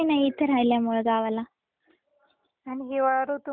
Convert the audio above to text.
पण हिवाळा ऋतु मला फार आवडतो का माहितीये का?